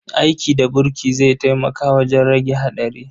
Aiki da burki zai taimaka wajen rage haɗari.